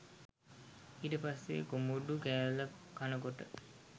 ඊට පස්සෙ කොමඩු කෑල්ල කනකොට